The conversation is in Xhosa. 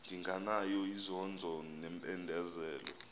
ndinganayo inzondo nempindezelo